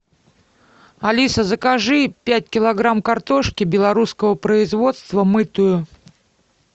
алиса закажи пять килограмм картошки белорусского производства мытую